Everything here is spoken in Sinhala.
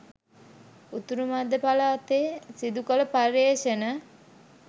උතුරු මැදපළාතේ සිදු කළ පර්යේෂණ